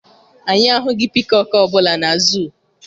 Anyị ahụghị pikọk ọ bụla na zuu.